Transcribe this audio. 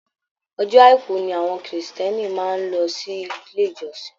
Ọjọ́ àìkú ni àwọn Kristiẹni máa ń lọ sí ilé ìjọsìn